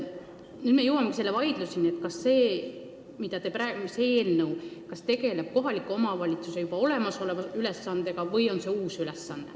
Nüüd me jõuame vaidluseni, kas see eelnõu tegeleb kohaliku omavalitsuse juba olemasoleva ülesandega või on see uus kohustus.